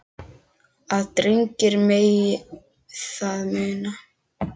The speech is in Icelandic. að drengir megi það muna